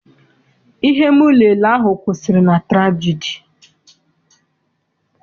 Ihe m lele ahụ kwụsịrị na turagidi.